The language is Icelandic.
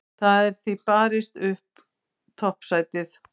Það er því barist upp toppsætið.